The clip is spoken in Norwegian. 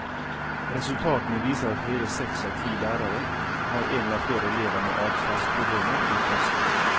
Resultatene viser at hele seks av ti lærere har en eller flere elever med adferdsproblemer i klassen.